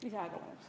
Lisaaega palun!